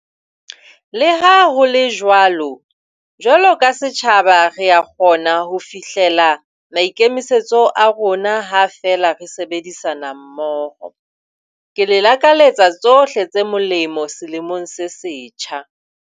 Le ha ho le jwalo, jwalo ka setjhaba re a kgona ho fihlela maikemisetso a rona ha feela re sebedisana mmoho. Ke le lakaletsa tsohle tse molemo selemong se setjha.